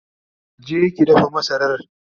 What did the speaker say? je ki dafa masarar!